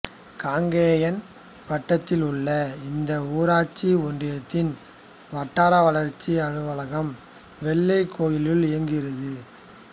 காங்கேயம் வட்டத்தில் உள்ள இந்த ஊராட்சி ஒன்றியத்தின் வட்டார வளர்ச்சி அலுவலகம் வெள்ளக்கோயிலில் இயங்குகிறது